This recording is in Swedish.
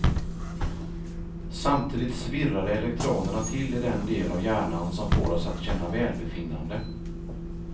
Samtidigt svirrade elektronerna till i den del av hjärnan som får oss att känna välbefinnande.